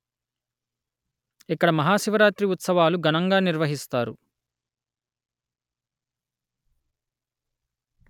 ఇక్కడ మహా శివరాత్రి ఉత్సవాలు ఘనంగా నిర్వహిస్తారు